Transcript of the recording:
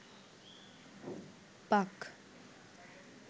পাক